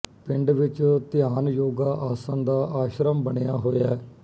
ਪਿੰਡ ਵਿੱਚ ਧਿਆਨ ਯੋਗਾ ਆਸਣ ਦਾ ਆਸ਼ਰਮ ਬਣਿਆ ਹੋਇਆ